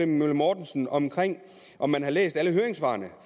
møller mortensen om om han har læst alle høringssvarene